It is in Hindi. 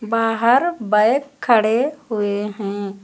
बाहर बैक खड़े हुए हैं।